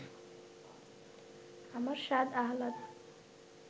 আমার সাধ আহ্লাদ